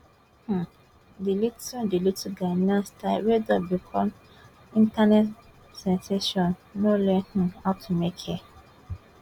um di little di little ghanaian star wey don become internet sensation no learn um how to make hair